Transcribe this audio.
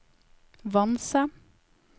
Vanse